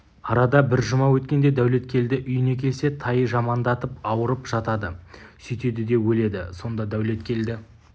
арада бір жұма өткенде дәулеткелді үйіне келсе тай жамандатып ауырып жатады сөйтеді де өледі сонда дәулеткелді